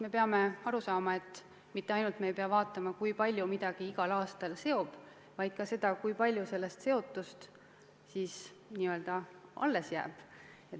Me peame aru saama, et me mitte ainult ei pea vaatama, kui palju midagi igal aastal seob, vaid ka seda, kui palju sellest seotust alles jääb.